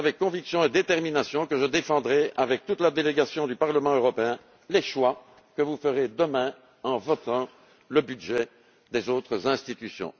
Mais c'est avec conviction et détermination que je défendrai avec toute la délégation du Parlement européen les choix que vous ferez demain en votant le budget des autres institutions.